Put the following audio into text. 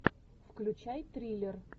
включай триллер